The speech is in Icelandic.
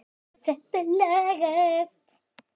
Svona, þetta lagast